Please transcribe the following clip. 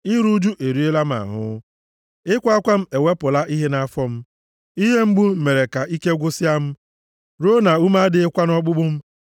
Iru ụjụ eriela m ahụ; ịkwa akwa m ewepụla ihe nʼafọ m; ihe mgbu m mere ka ike gwụsịa m ruo na ume adịghịkwa nʼọkpụkpụ m.